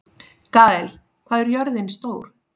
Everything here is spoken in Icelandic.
Gael, hvað er jörðin stór?